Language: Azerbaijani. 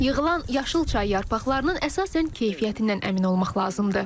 Yığılan yaşıl çay yarpaqlarının əsasən keyfiyyətindən əmin olmaq lazımdır.